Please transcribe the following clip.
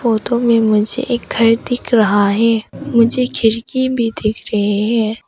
Photo में मुझे एक घर दिख रहा है मुझे खिड़की भी दिख रहे हैं।